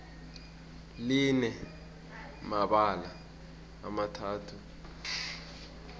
line mibala emithathu irobodo